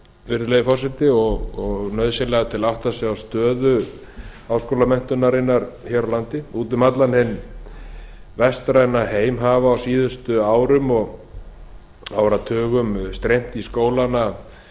virðulegi forseti og nauðsynlegar til að átta sig á stöðu háskólamenntunarinnar hér á landi út um allan hinn vestræna heim hafa á síðustu árum og áratugum streymt í